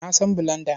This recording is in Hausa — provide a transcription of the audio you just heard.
Na san bulanda.